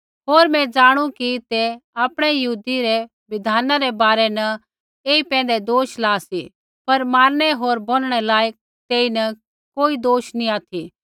होर मैं ज़ाणू कि तै आपणै यहूदी रै बिधानै रै बारै न ऐई पैंधै दोष ला सी पर मारनै होर बोनणै लायक तेईन कोई दोष नी ऑथि